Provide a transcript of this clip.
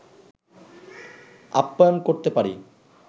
আপ্যায়ন করতে পারি